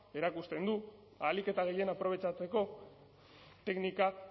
erakusten du ahalik eta gehien aprobetxatzeko teknika